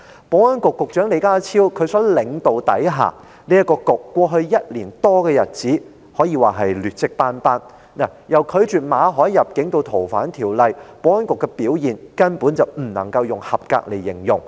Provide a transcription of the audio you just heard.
保安局在李家超局長領導下，在過去1年多的日子裏，可謂劣跡斑斑，由拒絕馬凱入境至修訂《逃犯條例》，保安局的表現根本不能用合格來形容。